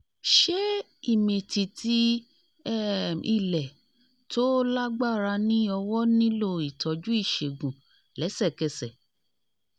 ṣé ìmìtìtì um ilẹ̀ tó lágbára ní ọwọ́ nílò ìtọ́jú ìṣègùn lẹ́sẹ̀kẹsẹ̀?